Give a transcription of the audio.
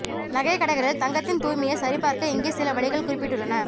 நகைக் கடைகளில் தங்கத்தின் தூய்மையை சரிபார்க்க இங்கே சில வழிகள் குறிப்பிடப்பட்டுள்ளன